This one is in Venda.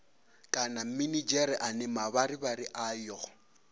kana minidzhere ane mavharivhari ayo